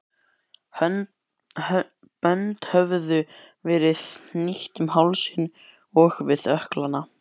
Bönd höfðu verið hnýtt um hálsinn og við ökklana.